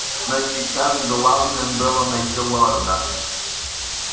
но сейчас главным было найти лорда